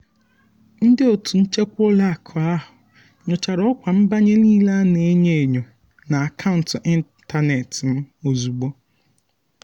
ndị otu nchekwa ụlọakụ ahụ nyochara ọkwa nbanye niile a na-enyo enyo na akaụntụ ịntanetị m ozugbo.